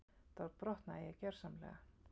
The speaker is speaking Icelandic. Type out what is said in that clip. Þá brotnaði ég gjörsamlega.